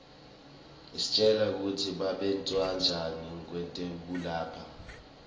isitjela kutsi babentanjani kwetekulapha